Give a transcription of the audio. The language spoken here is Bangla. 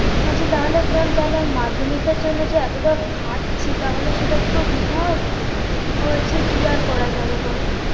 বলছি তাহলে maam তাহলে মাধ্যমিকের জন্য যে এতটা খাটছি তাহলে সেটা পুরো বৃথা হবে? ও বলছে কি আর করা যাবে বলো